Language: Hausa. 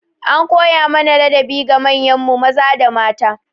An koya mana ladabi ga manyan mu maza da mata.